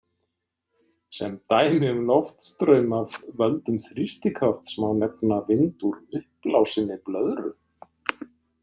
Sem dæmi um loftstraum af völdum þrýstikrafts má nefna vind úr uppblásinni blöðru.